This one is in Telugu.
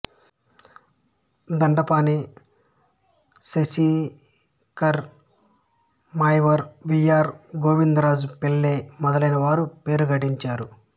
దండపాణి దేశికర్ మాయవరం వి ఆర్ గోవిందరాజ పిళ్ళై మొదలైన వారు పేరు గడించారు